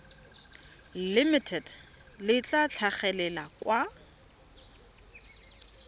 limited le tla tlhagelela kwa